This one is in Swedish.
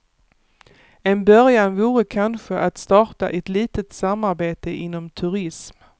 En början vore kanske att starta ett litet samarbete inom turism.